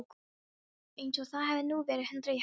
Eins og það hefði nú verið hundrað í hættunni.